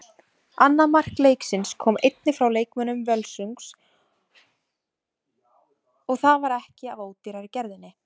Annað mark leiksins kom einnig frá leikmönnum Völsungs og það var ekki af ódýrari gerðinni.